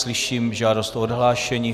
Slyším žádost o odhlášení.